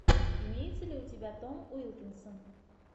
имеется ли у тебя том уилкинсон